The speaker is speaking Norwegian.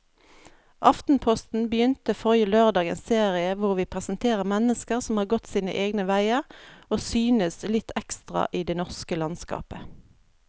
Aftenposten begynte forrige lørdag en serie hvor vi presenterer mennesker som har gått sine egne veier og synes litt ekstra i det norske landskapet.